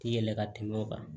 Ti yɛlɛ ka tɛmɛ o kan